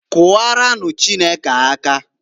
Kụwaranụ Chukwu aka.